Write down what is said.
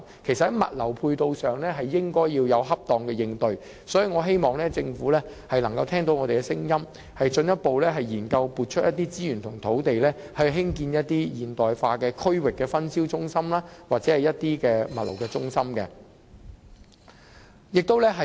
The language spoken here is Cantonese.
其實，在物流配套上，政府應該要有恰當的應對，所以，我希望政府能夠聽到我們的聲音，進一步進行研究，撥出資源和土地興建一些現代化的區域分銷中心或物流中心。